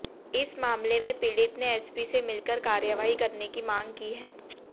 इस मामले में पीड़ित ने एसपी से मिलकर कार्रवाई करने की मांग की है